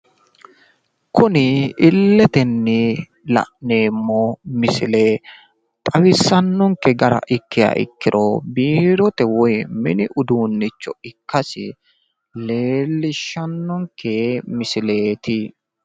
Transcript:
Kuni illetenni la'neemmo misile xawissannonke gara ikkiha ikkiro biirote woyi mini uduunnicho ikkasi leellishshannonke misileeti.